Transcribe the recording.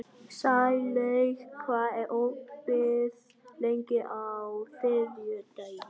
Sælaug, hvað er opið lengi á þriðjudaginn?